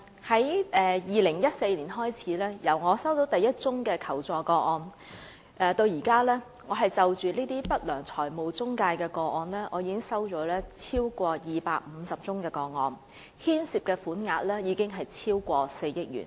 自2014年我收到第一宗求助個案至今，我已經收到超過250宗有關不良財務中介的求助個案，涉及款額超過4億元。